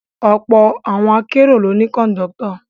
Ọ̀pọ̀ ọkọ̀ akérò ló ní Kọ̀ńdọ́tọ̀